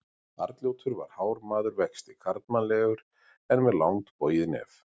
Arnljótur var hár maður vexti, karlmannlegur en með langt bogið nef.